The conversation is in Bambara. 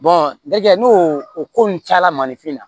dɛ n'o o ko nun cayala mandenfin na